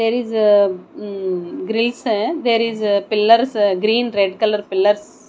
there is umm greece there is a pillars green red colour pillars.